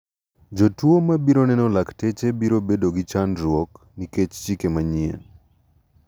Jotuo ma biro neno lakteche biro bedo gi chandruok nikech chike manyien.